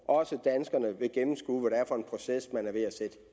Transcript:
også vil gennemskue er for en proces man er ved at sætte